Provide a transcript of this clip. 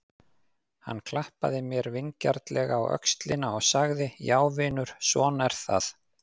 Hann klappaði mér vingjarnlega á öxlina og sagði: Já vinur, svona er það.